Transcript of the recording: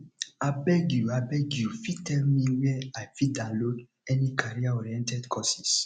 abeg you abeg you fit tell me where i fit download any careeroriented courses